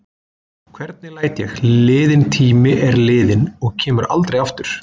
Hvernig læt ég: liðinn tími er liðinn og kemur aldrei aftur.